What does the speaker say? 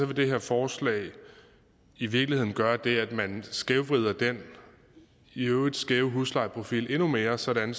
det her forslag i virkeligheden gøre det at man skævvrider den i øvrigt skæve huslejeprofil endnu mere sådan